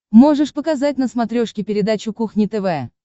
можешь показать на смотрешке передачу кухня тв